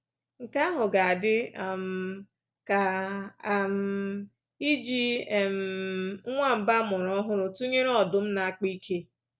Nke ahụ ga-adị um ka um iji um nwamba a mụrụ ọhụrụ tụnyere ọdụm na-akpa ike.